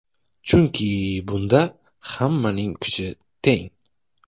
Chunki bunda hammaning kuchi teng.